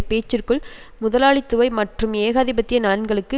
பேச்சிற்குள் முதலாளித்துவை மற்றும் ஏகாதிபத்திய நலன்களுக்கு